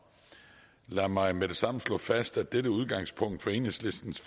lad mig med det samme slå fast at dette udgangspunkt for enhedslistens